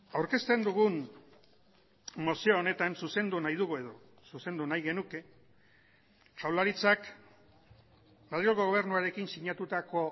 aurkezten dugun mozio honetan zuzendu nahi dugu edo zuzendu nahi genuke jaurlaritzak madrilgo gobernuarekin sinatutako